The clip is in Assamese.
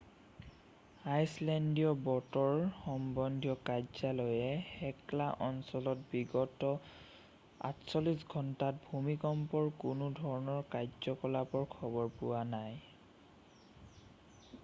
আইচলেণ্ডীয় বতৰ সম্বন্ধীয় কাৰ্যালয়ে হেকলা অঞ্চলত বিগত 48 ঘণ্টাত ভূমিকম্পৰ কোনো ধৰণৰ কাৰ্যকলাপৰ খবৰ পোৱা নাই